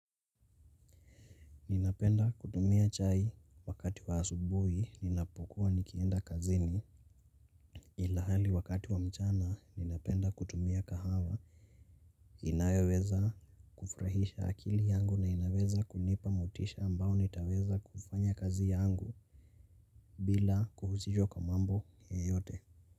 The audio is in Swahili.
Ninapenda kutumia chai wakati wa asubui ninapokuwa nikienda kazini ilahali wakati wa mchana ninapenda kutumia kahawa inayeweza kufurahisha akili yangu na inaweza kunipa motisha ambao nitaweza kufanya kazi yangu bila kuhusishwa kwa mambo yeyote.